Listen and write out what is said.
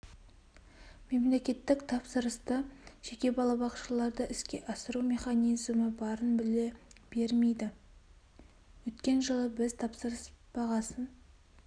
мемлекеттік тапсырысты жеке балабақшаларда іске асыру механизімі барын біле бермейді өткен жылы біз тапсырыс бағасын